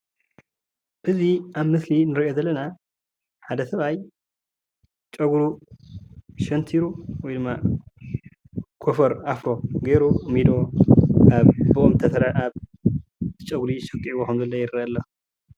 እዚ ኣብ ምስሊ እንሪኦ ዘለና ሓደ ሰብኣይ ፀጉሩ ሸንቲሩ ወይ ድማ ኮፈር ኣፍሮ ገይሩ ሚዶ ኣብ ፀጉሪ ሰኪዕዎ ኸም ዘሎ ይርአየና ኣሎ።